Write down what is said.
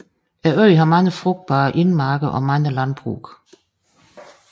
Øen har mange frugtbare indmarker og mange landbrug